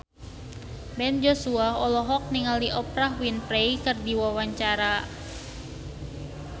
Ben Joshua olohok ningali Oprah Winfrey keur diwawancara